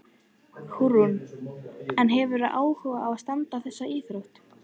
Hugrún: En hefurðu áhuga á að stunda þessa íþrótt?